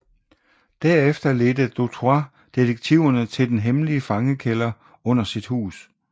Derefter ledte Dutroux detektiverne til den hemmelige fangekælder under sit hus